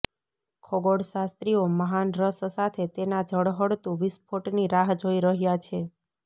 ખગોળશાસ્ત્રીઓ મહાન રસ સાથે તેના ઝળહળતું વિસ્ફોટની રાહ જોઈ રહ્યાં છે